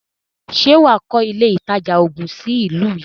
Ṣè wà á kọ́ ilé ìtajà oògun sí ìlú yìí?